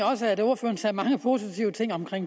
også at ordføreren sagde mange positive ting om